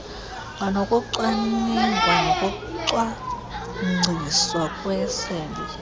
kwanokucwaningwa nokucwangciswa kwesebe